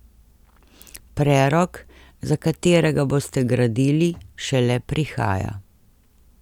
Prerok, za katerega boste gradili, šele prihaja.